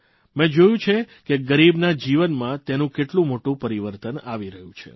મે જોયું છે કે ગરીબના જીવનમાં તેનું કેટલું મોટું પરિવર્તન આવી રહ્યું છે